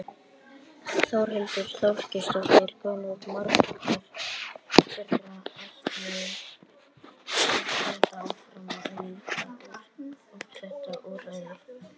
Þórhildur Þorkelsdóttir: Hversu margir þeirra ætla að halda áfram að nýta sér þetta úrræði?